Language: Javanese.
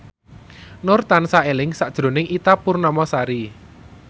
Nur tansah eling sakjroning Ita Purnamasari